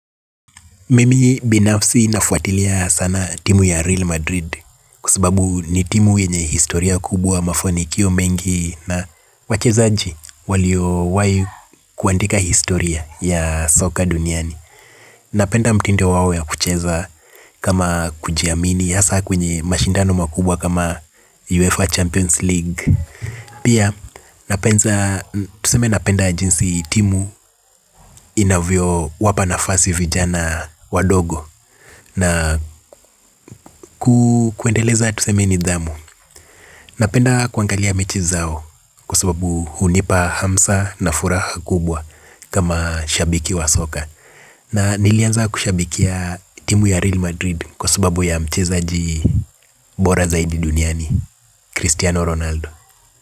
Mimi binafsi nafuatilia sana timu ya Real Madrid kwa sababu ni timu yenye historia kubwa mafonikio mengi na wachezaji walio wahi kuandika historia ya soka duniani. Napenda mtindo wao wa kucheza kama kujiamini hasa kwenye mashindano makubwa kama UEFA Champions League. Pia napenda, tuseme napenda jinsi timu inavyo wapa nafasi vijana wadogo na kuendeleza nidhamu. Napenda kuangalia mechi zao kwa sababu hunipa hamsa na furaha kubwa kama shabiki wa soka. Na nilianza kushabikia timu ya Real Madrid kwa sababu ya mchezaji bora zaidi duniani, Cristiano Ronaldo.